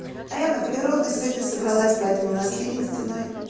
а я на природу сегодня собралась поэтому у нас ливень стеной